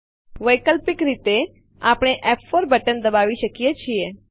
વૈકલ્પિક રીતે આપણે ફ4 બટન દબાવી શકીએ છીએ